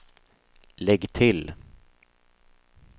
lägg till